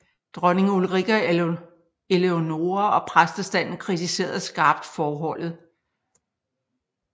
Dronning Ulrika Eleonora og præstestanden kritiserede skarpt forholdet